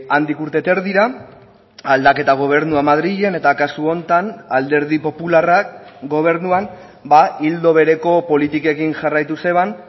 handik urte eta erdira aldaketa gobernua madrilen eta kasu honetan alderdi popularrak gobernuan ildo bereko politikekin jarraitu zeban